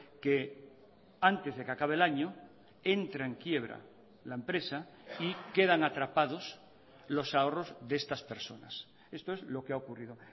que antes de que acabe el año entra en quiebra la empresa y quedan atrapados los ahorros de estas personas esto es lo que ha ocurrido